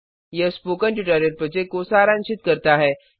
यह spoken tutorial project को सारांशित करता है